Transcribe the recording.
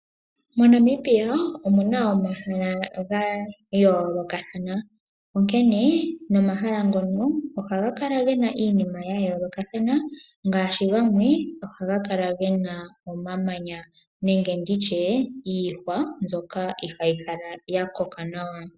Mo Namibia omuna omahala ga yoolokathana, onkene nomahala ngono ohaga kala gena iinima ya yoolokathana ngaashi gamwe ohaga kala gena omamanya nenge ndi tye iihwa mbyoka ihaayi kala ya koka nawa.